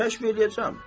Kəşf eləyəcəm.